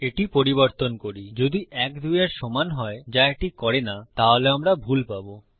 এটি পরিবর্তন করি যদি ১ ২ এর সমান হয় যা এটি করে না তাহলে আমরা ভুল পাবো